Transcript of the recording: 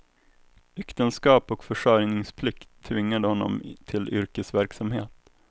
Äktenskap och försörjningsplikt tvingade honom till yrkesverksamhet.